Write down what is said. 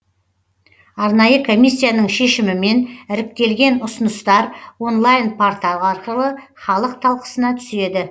арнайы комиссияның шешімімен іріктелген ұсыныстар онлайн портал арқылы халық талқысына түседі